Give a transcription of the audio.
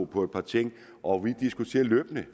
på et par ting og vi diskuterer løbende